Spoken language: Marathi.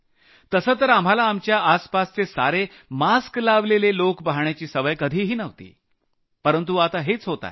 तसंतर आम्हाला आपल्या आसपासचे सारे लोक मास्क चढवून पहायची कधीही सवय नव्हती परंतु आता हेच होत आहे